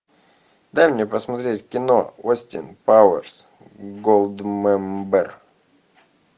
дай мне посмотреть кино остин пауэрс голдмембер